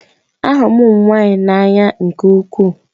Ahụrụ m ụmụ nwanyị n'anya nke ukwuu